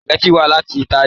Sùpàgẹ́tì wá láti Italy